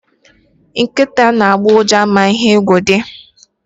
Nkịta na-agbọ ụja ma ihe egwu dị.